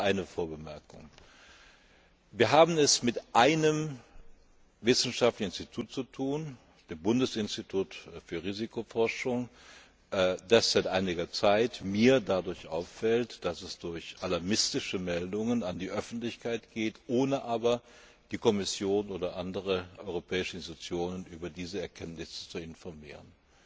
Erlauben Sie mir eine Vorbemerkung Wir haben es mit einem wissenschaftlichen Institut zu tun, dem Bundesinstitut für Risikobewertung, das mir seit einiger Zeit dadurch auffällt, dass es mit alarmistischen Meldungen an die Öffentlichkeit geht, ohne aber die Kommission oder andere europäische Institutionen über diese Erkenntnisse zu informieren.